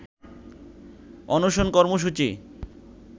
অনশন কর্মসূচি